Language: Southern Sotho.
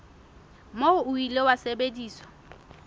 moo o ile wa sebediswa